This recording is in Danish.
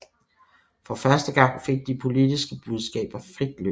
For første gang fik de politiske budskaber frit løb